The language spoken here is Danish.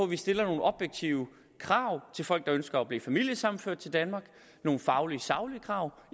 vi stiller nogle objektive krav til folk der ønsker at blive familiesammenført til danmark nogle faglige saglige krav